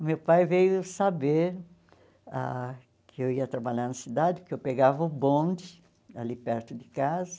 O meu pai veio saber ah que eu ia trabalhar na cidade, que eu pegava o bonde ali perto de casa,